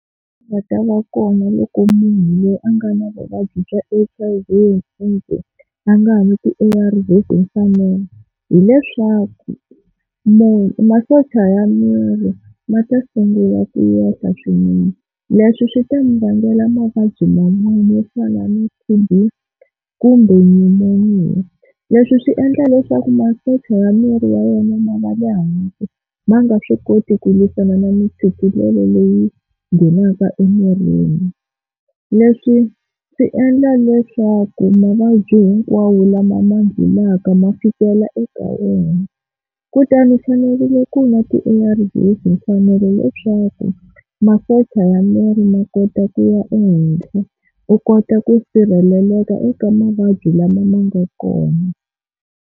Nga ta va kona loko munhu loyi a nga na vuvabyi bya H_I_V and AIDS a nga nwi ti-A_R_Vs hi mfanelo hileswaku munhu masocha ya miri ma ta sungula ku yenhla swinene. Leswi swi ta mi vangela mavabyi manwaba yo fana na T_B, kumbe Pneumonia. Leswi swi endla leswaku masocha ya miri ya yena ma va le hansi ma nga swi koti ku lwisana na mintshikelelo leyi nghenaka emirini. Leswi swi endla leswaku mavabyi hinkwawo lama ma nghenaka ma fikela eka wena, kutani u fanerile ku nwa ti-A_R_V hi mfanelo leswaku masocha ya miri ma kota ku ya ehenhla u kota ku sirheleleka eka mavabyi lama ma nga kona.